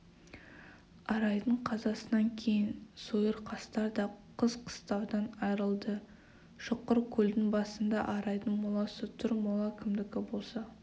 арайдың қазасынан кейін сойырқастар да қыс қыстаудан айрылды шұқыркөлдің басында арайдың моласы тұр мола кімдікі болса